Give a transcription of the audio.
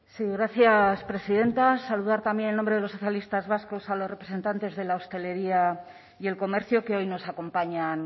sí gracias presidenta saludar también en nombre de los socialistas vascos a los representantes de la hostelería y el comercio que hoy nos acompañan